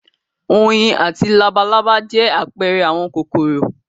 Oyin àti labalábá jẹ́ àpẹẹrẹ àwọn kòkòrò.